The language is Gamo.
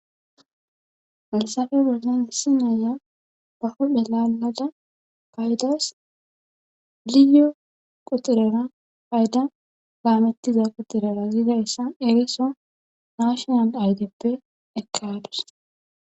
falsafe berzen hissi naya bahodhe laalada paydas liyo qutirera payda gaamettiza qutirera ziida issa eriso naashonal aydeppe ekkadus